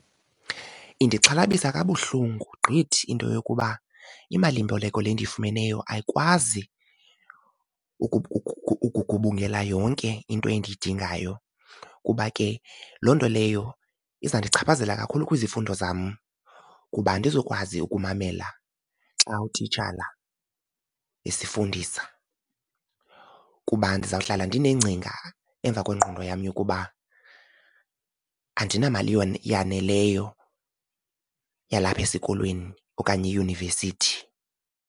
Indixhalabisa kabuhlungu gqithi into yokuba imalimboleko le ndiyifumeneyo ayikwazi ukugubungela yonke into endiyidingayo kuba ke loo nto leyo izandichaphazela kakhulu kwizifundo zam kuba andizukwazi ukumamela xa utitshala esifundisa. Kuba ndizawuhlala ndineengcinga emva kwengqondo yam yokuba andinamali yaneleyo yalapha esikolweni okanye eyunivesithi.